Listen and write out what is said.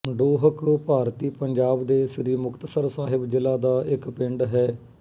ਡੋਹਕ ਭਾਰਤੀ ਪੰਜਾਬ ਦੇ ਸ੍ਰੀ ਮੁਕਤਸਰ ਸਾਹਿਬ ਜ਼ਿਲ੍ਹਾ ਦਾ ਇੱਕ ਪਿੰਡ ਹੈ